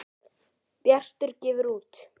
Bjartur gefur út.